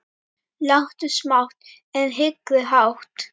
Láttu smátt, en hyggðu hátt.